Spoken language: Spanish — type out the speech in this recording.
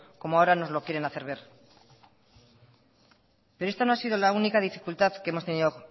como ahora nos lo quieren hacer ver pero esta no ha sido la única dificultad que hemos tenido